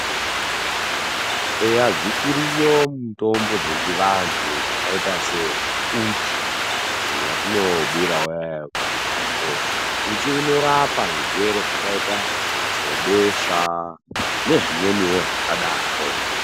Eya dzichiriyo mitombo dzechivantu dzakaita sehuchi hwatinobura mumukoko , huchi hunorapa zvirwere zvakaita sebesha nezvimweniwo zvakadaro